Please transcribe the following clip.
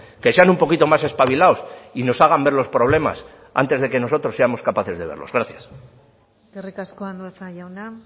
que sean un poquito más espabilados y nos hagan ver los problemas antes de que nosotros seamos capaces de verlos gracias eskerrik asko andueza jauna